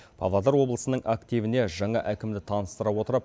павлодар облысының активіне жаңа әкімді таныстыра отырып